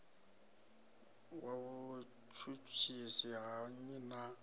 wa vhutshutshisi ha nnyi na